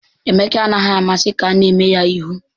Emeka anaghị amasị ka a na-eme ya ihu